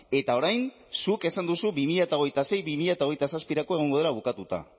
eta orain zuk esan duzu bi mila hogeita sei bi mila hogeita zazpirako egongo dela bukatuta